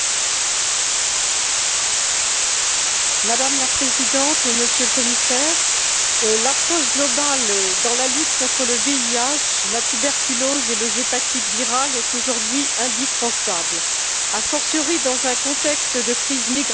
Madame la Présidente, Monsieur le Commissaire, l'approche globale dans la lutte contre le VIH, la tuberculose et les hépatites virales est aujourd'hui indispensable, a fortiori dans un contexte de crise migratoire qui augmente l'incidence de ces affections.